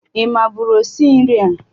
Ị mabụrụ osi nri a?